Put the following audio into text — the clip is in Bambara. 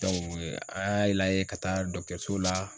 an y'a lajɛ ka taa la